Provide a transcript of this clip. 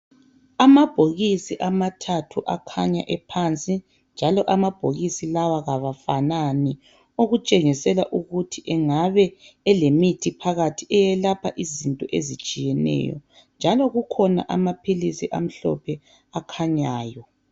Amabhokisi amathathu akhanya ephansi njalo amabhokisi lawa kawafanani okutshengisela ukuthi engabe elemithi phakathi eyelapha izinto ezitshiyeneyo njalo kukhona amaphilisi amhlophe akhanyayo.